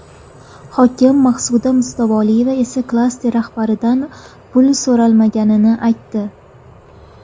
Hokim Maqsuda Mustafoyeva esa klaster rahbaridan pul so‘ralmaganini aytdi.